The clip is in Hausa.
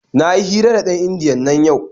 Na yi hira da ɗan indiyan nan yau.